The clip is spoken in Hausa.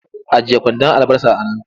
Ajiye kwandon albasar a nan!